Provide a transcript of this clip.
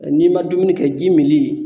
N'i ma dumuni kɛ, ji mili